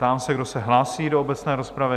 Ptám se, kdo se hlásí do obecné rozpravy?